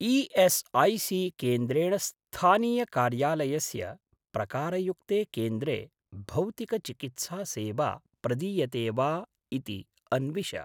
ई.एस्.ऐ.सी.केन्द्रेण स्थानीय कार्यालयस्य प्रकारयुक्ते केन्द्रे भौतिक चिकित्सा सेवा प्रदीयते वा इति अन्विष।